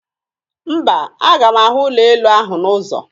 Mba, aga m ahụ ụlọelu ahụ n'ụzọ